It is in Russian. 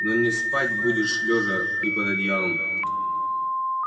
но не спать будешь лёжа и под одеялом